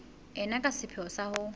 ena ka sepheo sa ho